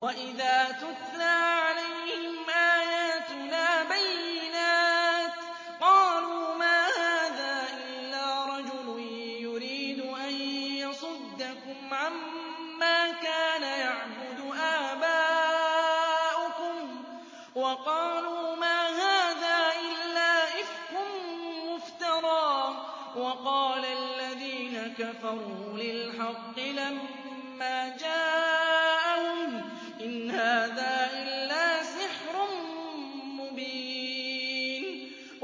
وَإِذَا تُتْلَىٰ عَلَيْهِمْ آيَاتُنَا بَيِّنَاتٍ قَالُوا مَا هَٰذَا إِلَّا رَجُلٌ يُرِيدُ أَن يَصُدَّكُمْ عَمَّا كَانَ يَعْبُدُ آبَاؤُكُمْ وَقَالُوا مَا هَٰذَا إِلَّا إِفْكٌ مُّفْتَرًى ۚ وَقَالَ الَّذِينَ كَفَرُوا لِلْحَقِّ لَمَّا جَاءَهُمْ إِنْ هَٰذَا إِلَّا سِحْرٌ مُّبِينٌ